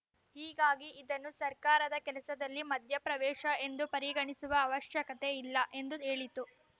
ಹೀಗಾಗಿ ಇದನ್ನು ಸರ್ಕಾರದ ಕೆಲಸದಲ್ಲಿ ಮಧ್ಯಪ್ರವೇಶ ಎಂದು ಪರಿಗಣಿಸುವ ಅವಶ್ಯಕತೆ ಇಲ್ಲ ಎಂದೂ ಹೇಳಿತು